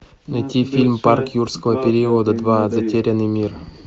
найти фильм парк юрского периода два затерянный мир